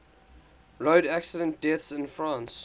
road accident deaths in france